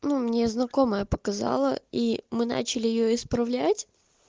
ну мне знакомая показала и мы начали её исправлять